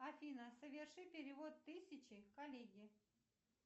афина соверши перевод тысячи коллеге